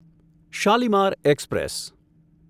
Shalimar express